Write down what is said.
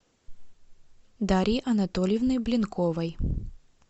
дарьи анатольевны блинковой